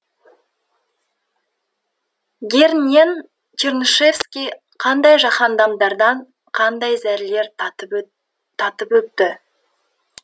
герңен чернышевский қандай жаһаннамдардан қандай зәрлер татып өтті